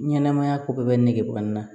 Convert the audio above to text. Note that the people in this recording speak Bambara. Ɲɛnɛmaya ko bɛɛ bɛ nege bɔ n na